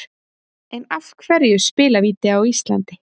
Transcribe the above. En af hverju spilavíti á Íslandi?